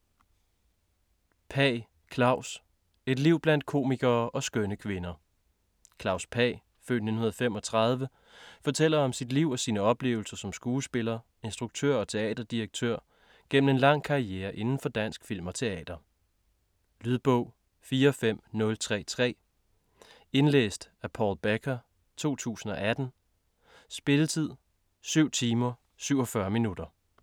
Pagh, Klaus: Et liv blandt komikere og skønne kvinder Klaus Pagh (f. 1935) fortæller om sit liv og sine oplevelser som skuespiller, instruktør og teaterdirektør igennem en lang karriere indenfor dansk film og teater. Lydbog 45033 Indlæst af Paul Becker, 2018. Spilletid: 7 timer, 47 minutter.